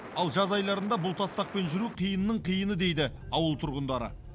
ал жаз айларында бұл тастақпен жүру қиынның қиыны дейді ауыл тұрғындары